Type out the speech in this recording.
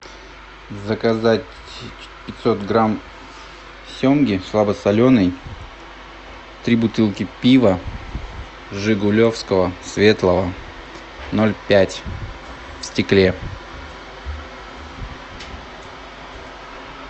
заказать пятьсот грамм семги слабосоленой три бутылки пива жигулевского светлого ноль пять в стекле